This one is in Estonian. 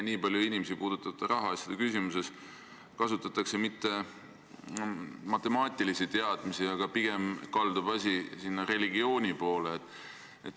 Nii paljusid inimesi puudutavate rahaasjade otsustamisel ei kasutata matemaatilisi teadmisi, pigem kaldub asi religiooni poole.